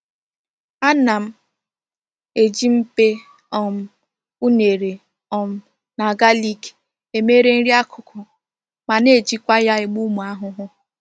Ana m eji mkpe um unere um na galik e mere nri akuku ma na-ejikwa ya egbu umu ahuhu.